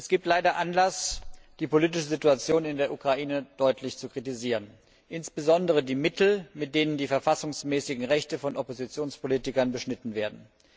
Es gibt leider Anlass, die politische Situation in der Ukraine deutlich zu kritisieren, insbesondere die Mittel, mit denen die verfassungsmäßigen Rechte von Oppositionspolitikern beschnitten werden.